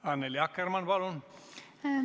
Annely Akkermann, palun!